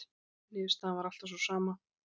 Niðurstaðan var alltaf sú sama.